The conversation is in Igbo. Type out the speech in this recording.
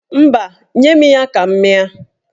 Mba, nye m ya ka m mịa.